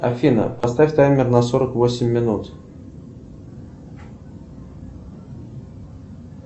афина поставь таймер на сорок восемь минут